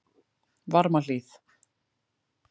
Varmahlíð